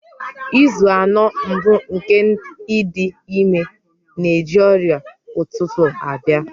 Izu anọ mbụ nke ịdị ime na-eji ọrịa ụtụtụ abịa.